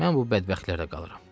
Mən bu bədbəxtlərdə qalıram.